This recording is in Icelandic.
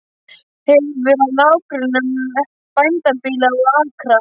Hefur að nágrönnum bændabýli og akra.